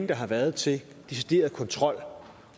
der har været til decideret kontrol